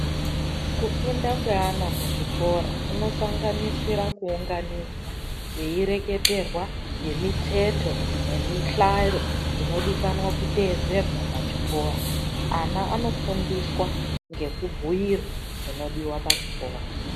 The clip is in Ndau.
Kufunda kweana muzvikora kunosanganisira kuunganidzwa teireketerwa ngemiteto nemihlaro inodikanwa kuteedzerwa pachikoro. Ana anofundiswa ngekubhuyirwa zvinodiwa pachikora.